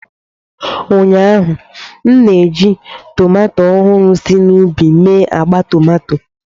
Ụnyaahụ, m na-eji tomato ọhụrụ si n'ubi mee agba tomato.